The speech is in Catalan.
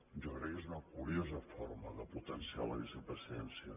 jo crec que és una curiosa forma de potenciar la vicepresidència